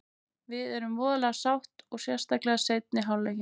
Við erum voðalega sátt og sérstaklega seinni hálfleikinn.